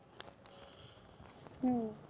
হম